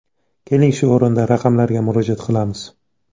Keling, shu o‘rinda raqamlarga murojaat qilamiz.